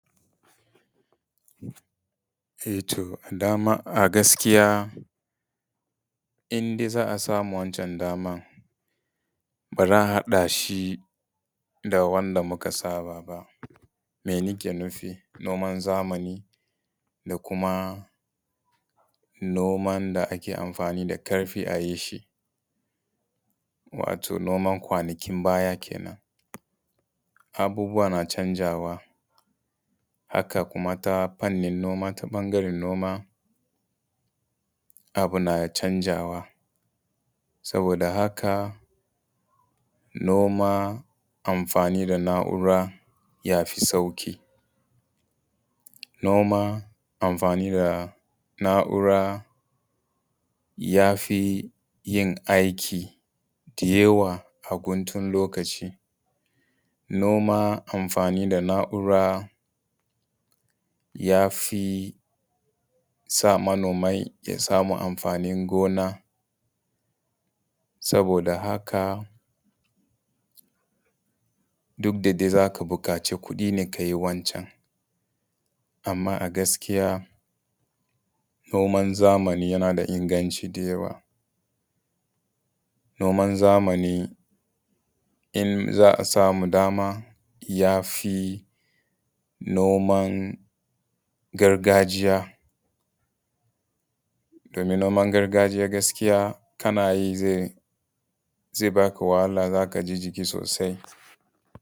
E to daman a gaskiya in dai za a samu wacan daman ba za a haɗa shi da wanda muka saba ba. Mai nake nufi? Noman zamani da kuma noman da ake amfanin da ƙarfi a yi shi, wato noman kwanakin baya kenan. Abubuwa na canzawa, haka kuma ta fannin noma, ta ɓangaren noma abu na canzawa, Saboda haka noma amfani da na’ura ya fi sauƙi, noma amfani da naura yafi yin aikin da yawa a guntun lokaci. Noma amfani da na’ura ya fi sa manomai ya samu amfanin gona. Saboda haka duk da dai za ka buƙaci kuɗi ne ka yi wancan, amma gaskiya noman zamani yana da inganci da yawa. Noman zamani in za a samu daman ya fi noman gargajiya, domin noman gargajiya gaskiya kana yi zai ba ka wahala za ka gaji sosai.